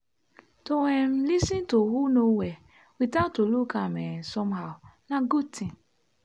to um lis ten to who no well without to look am um somehow na good thing.